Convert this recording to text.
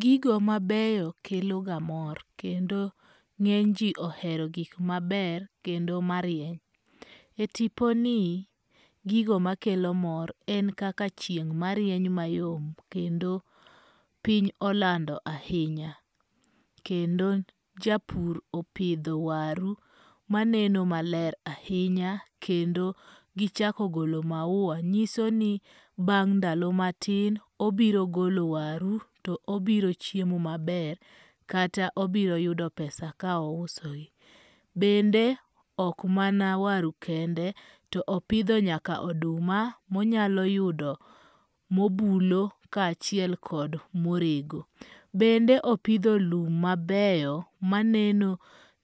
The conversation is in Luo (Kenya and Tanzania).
Gigo mabeyo kelo ga mor kendo ng'eny ji ohero gik maber kendo marieny. E tipo ni, gigo makelo mor en kaka chieng' marieny mayom kendo piny olando ahinya. Kendo japur opidho waru maneno maler ahinya. Kendo gichako golo maua nyiso ni bang' ndalo matin obiro golo waru to obiro chiemo maber kata obiru yudo pesa ka ouso gi. Bende ok mana waru kende to opidho nyaka oduma monyalo yudo mobulo ka achiel kod morego. Bende opidho lum mabeyo maneno